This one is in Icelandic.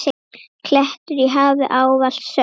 klettur í hafi, ávallt sönn.